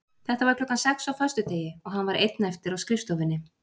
Þetta var klukkan sex á föstudegi og hann var einn eftir á skrifstofunni.